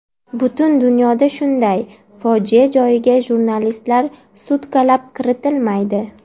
Butun dunyoda shunday, fojia joyiga jurnalistlar sutkalab kiritilmaydi.